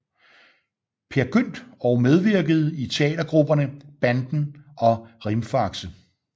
Peer Gynt og medvirkede i teatergrupperne Banden og Rimfaxe